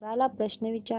कोरा ला प्रश्न विचार